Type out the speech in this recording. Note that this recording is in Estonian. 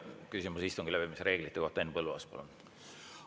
Küsimus istungi läbiviimise reeglite kohta, Henn Põlluaas, palun!